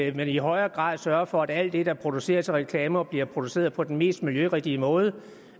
i højere grad sørger for at alt det der produceres af reklamer bliver produceret på den mest miljørigtige måde